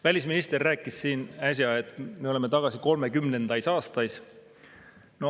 Välisminister rääkis siin äsja, et me oleme tagasi kolmekümnendais aastais.